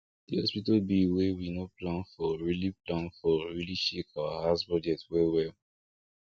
the hospital bill wey we no plan for really plan for really shake our house budget well well